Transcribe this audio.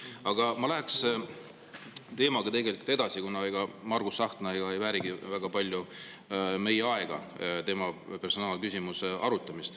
Aga ma läheks teemaga edasi, kuna Margus Tsahkna personaalküsimuse arutamine ei väärigi väga palju meie aega.